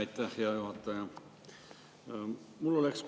Aitäh, hea juhataja!